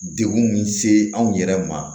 Degun min se anw yɛrɛ ma